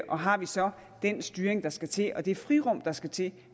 og har vi så den styring der skal til og det frirum der skal til